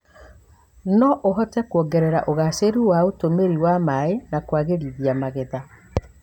no ũhote kuongerera ũgacĩru wa ũtũmĩri wa maĩ na kũagĩrithia magetha.